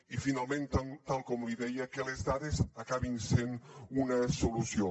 i finalment tal com li deia que les dades acabin sent una solució